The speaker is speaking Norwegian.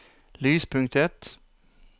lyspunktet